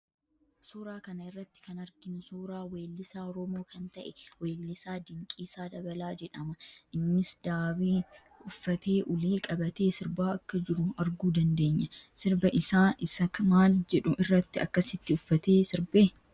Suuraa kana irratti kan arginu suuraa weellisaa Oromoo kan ta'e weellisaa Dinqiisaa Dabalaa jedhama. Innis daabee uffatee ulee qabatee sirbaa akka jiru arguu dandeenya. Sirba isaa isa maal jedhu irratti akkasitti uffatee sirbe?